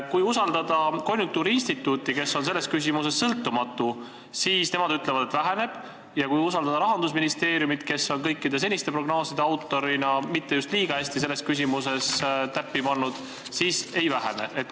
Konjunktuuriinstituut, kes on selles küsimuses sõltumatu, ütleb, et väheneb, ja Rahandusministeerium, kes kõikide seniste prognooside autorina ei ole selles küsimuses mitte just liiga hästi täppi pannud, ütleb, et ei vähene.